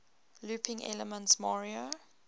looping elements mario